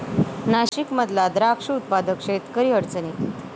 नाशिकमधला द्राक्ष उत्पादक शेतकरी अडचणीत